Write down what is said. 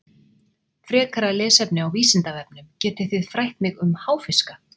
Frekara lesefni á Vísindavefnum: Getið þið frætt mig um háfiska?